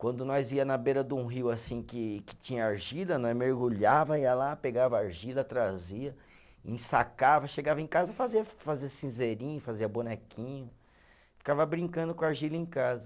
Quando nós ia na beira de um rio assim que que tinha argila, nós mergulhava, ia lá, pegava argila, trazia, ensacava, chegava em casa, fazia fazia cinzeirinho, fazia bonequinho, ficava brincando com a argila em casa.